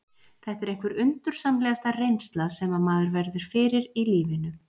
Þetta er einhver undursamlegasta reynsla sem maður verður fyrir í lífinu.